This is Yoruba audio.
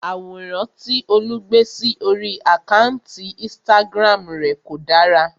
Àwòrán tí Olú gbé sí orí àkántì Instagram rè kò dára.